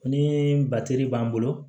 Ni batiri b'an bolo